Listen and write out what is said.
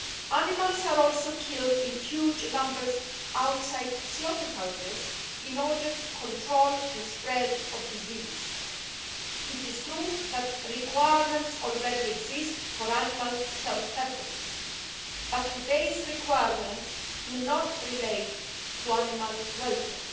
Animals are also killed in huge numbers outside slaughterhouses in order to control the spread of disease. It is true that requirements already exist for animal health purposes, but today's requirements do not relate to animal welfare.